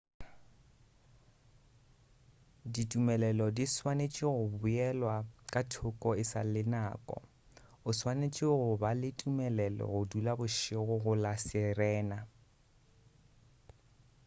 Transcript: ditumelelo di swanetše go beelwa ka thoko e sa le nako o swanetše go ba le tumelelo go dula bošego go la sirena